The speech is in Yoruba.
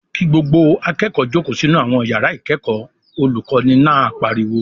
"Kí gbogbo akẹ́kọ̀ọ́ jókòó sínú àwọn ìyàrá ìkẹ́kọ̀ọ́!" Olùkọ́ní náà pariwo.